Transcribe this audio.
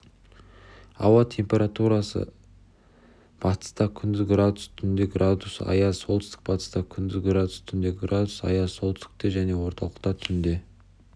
ауа температурасыбатыста күндіз градус түнде градусаяз солтүстік-батыста күндіз градус түнде градус аяз солтүстікте және орталықта түнде